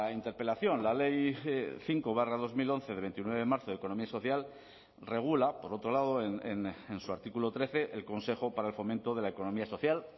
interpelación la ley cinco barra dos mil once de veintinueve de marzo de economía social regula por otro lado en su artículo trece el consejo para el fomento de la economía social